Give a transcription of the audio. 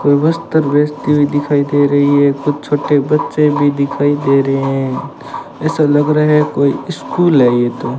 कोई वस्त्र बेचती हुई दिखाई दे रही है कुछ छोटे बच्चे भी दिखाई दे रात हैं ऐसा लग रहा है कोई स्कूल है ये तो।